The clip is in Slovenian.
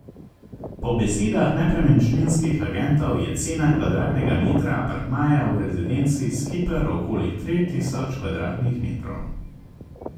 Po besedah nepremičninskih agentov je cena kvadratnega metra apartmaja v Rezidenci Skiper okoli tri tisoč kvadratnih metrov.